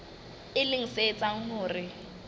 e leng se etsang hore